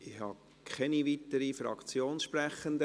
Es gibt keine weiteren Fraktionssprecher.